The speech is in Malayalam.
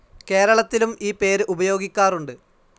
കേരളത്തിലും ഈ പേര് ഉപയോഗിക്കാറുണ്ട്.